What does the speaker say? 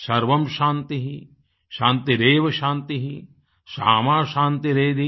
सर्वं शान्तिःशान्तिरेव शान्तिः सामा शान्तिरेधि